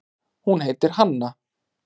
Hún heitir Hanna.